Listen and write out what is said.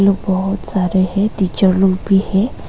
वो बहुत सारे है टीचर लोग भी है।